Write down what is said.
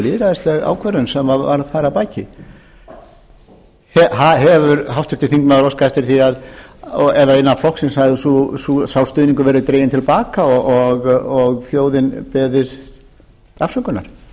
lýðræðisleg ákvörðun sem var þar að baki hefur háttvirtur þingmaður óskað eftir því eða innan flokksins hafi sá stuðningur verið dreginn til baka og þjóðin beðin afsökunar